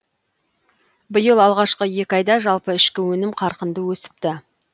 биыл алғашқы екі айда жалпы ішкі өнім қарқынды өсіпті